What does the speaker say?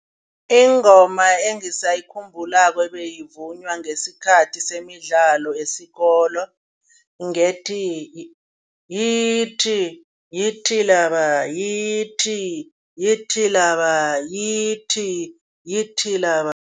Ingoma engisayikhumbulako ebeyivunywa ngesikhathi semidlalo esikolweni ngethi yithi yithi laba, yithi yithi laba, yithi yithi laba.